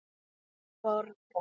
Ég borga.